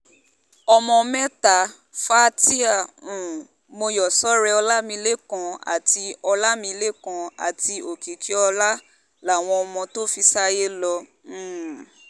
ọmọ mẹ́ta fatia um mòyọ́sọ̀rẹ́ ọlámilẹ́kan àti ọlámilẹ́kan àti òkìkíọ́lá làwọn ọmọ tó fi sáyé lọ um